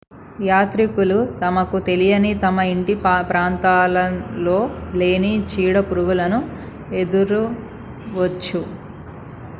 యాత్రికులు తమకు తెలియని తమ ఇంటి ప్రాంతాలలో లేని చీడ పురుగులును ఎదురవ్వచ్చు